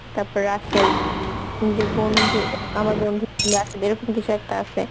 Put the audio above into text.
তারপর রাশেদ যে বন্ধু আমার বন্ধু রাশেদ এইরকম কিসু একটা আসে